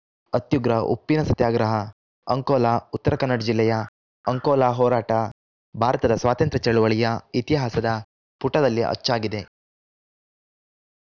ಅತ್ಯುಗ್ರ ಉಪ್ಪಿನ ಸತ್ಯಾಗ್ರಹ ಅಂಕೋಲಾ ಉತ್ತರ ಕನ್ನಡ ಜಿಲ್ಲೆಯ ಅಂಕೋಲಾ ಹೋರಾಟ ಭಾರತದ ಸ್ವಾತಂತ್ರ್ಯ ಚಳವಳಿಯ ಇತಿಹಾಸದ ಪುಟದಲ್ಲಿ ಅಚ್ಚಾಗಿದೆ